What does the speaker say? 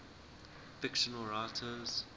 fictional writers